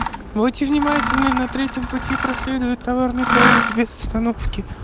будьте внимательны на третьем пути проследует товарный поезд без остановки